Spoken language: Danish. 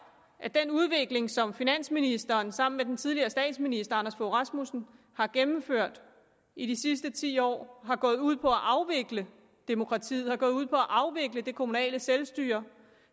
at den udvikling som finansministeren sammen med den tidligere statsminister anders fogh rasmussen har gennemført i de sidste ti år har gået ud på at afvikle demokratiet har gået ud på at afvikle det kommunale selvstyre